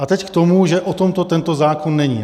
A teď k tomu, že o tomto ten zákon není.